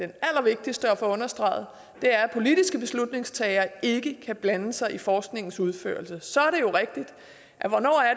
det allervigtigste at få understreget er at politiske beslutningstagere ikke kan blande sig i forskningens udførelse så